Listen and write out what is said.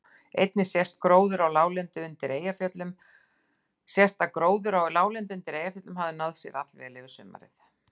Einnig sést að gróður á láglendi undir Eyjafjöllum hafði náð sér allvel um sumarið.